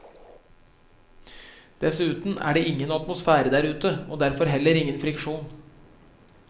Dessuten er det ingen atmosfære der ute, og derfor heller ingen friksjon.